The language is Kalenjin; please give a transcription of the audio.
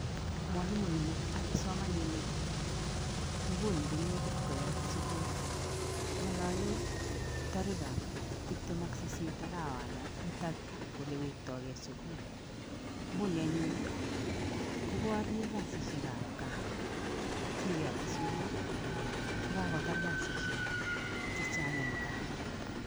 Mwalimuinik ak kipsomaninik nguni ko negit koyat sukul. Ng'ololee tarikab tiptem ak sisit arawana nitok kole wektoigei sukul. Nguni anyun, koborie kasisiekab gaa singeyote sukul ko kagotar kasishek chechang eng gaa.